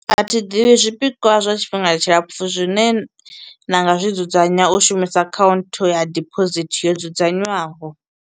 A thi ḓivhi zwipikwa zwa tshifhinga tshilapfu zwine na nga zwi dzudzanya u shumisa account ya deposit yo dzudzanywaho.